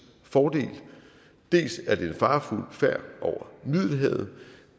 fordel dels er det en farefuld færd over middelhavet